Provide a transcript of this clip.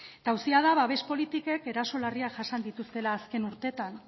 eta auzia da babes politikek eraso larriak jasan dituztela azken urteetan